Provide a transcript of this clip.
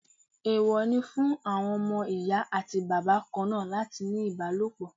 Èèwọ̀ ni fún àwọn ọmọ Ìyá àti Bàbá kanáà láti ní ìbálòpọ̀.